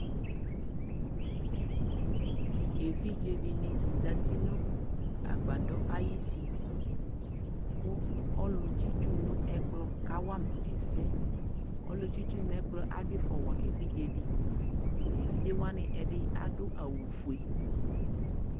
ɛvidzɛ dini zati nʋ agbadɔ ayiti kʋ ɔlʋ tsitsu nʋ ɛkplɔ kawama ɛsɛ, ɔlʋ tsitsu nʋ ɛkplɔ adʋ iƒɔ wa ɛvidzɛ di, ɛvidzɛ wani adʋ awʋƒʋɛ